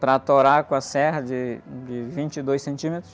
para atorar com a serra de, de vinte e dois centímetros.